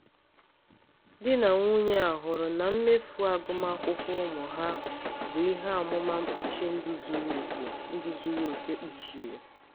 di na nwunye a hụrụ na mmefu agụmakwụkwọ ụmụ ha bụ ihe amụma mkpuchi ndụ zuru oke ndụ zuru oke kpuchiri.